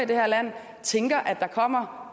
det her land tænker at der kommer